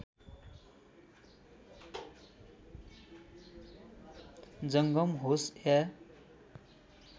जङ्गम होस् या